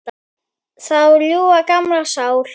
Þú ljúfa, gamla sál.